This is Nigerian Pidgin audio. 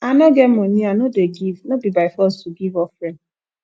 i no get money i no dey give no be by force to give offering